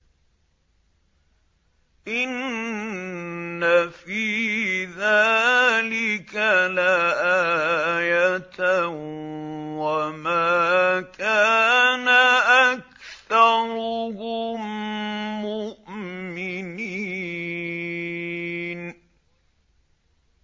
إِنَّ فِي ذَٰلِكَ لَآيَةً ۖ وَمَا كَانَ أَكْثَرُهُم مُّؤْمِنِينَ